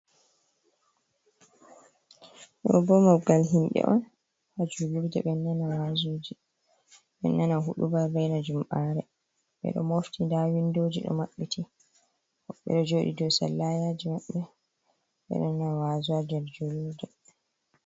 Ɗo bo maggal himbe on ha julurɗe beɗo nana waaziji. be nana huɗuba raina jum'are. Beɗo mofti nɗa winɗoji ɗo mabbiti. beɗo joɗi ɗow salayaji mabbe. Beɗana wazu ha jolurɗe.